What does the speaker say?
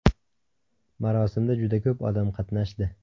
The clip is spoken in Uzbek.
Marosimda juda ko‘p odam qatnashdi.